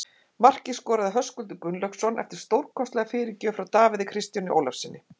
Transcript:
Markið skoraði Höskuldur Gunnlaugsson eftir stórkostlega fyrirgjöf frá Davíð Kristjáni Ólafssyni.